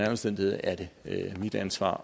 omstændigheder er det mit ansvar